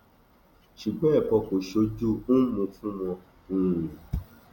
ṣùgbọn ẹkọ kò sójú ḿmú fún wọn um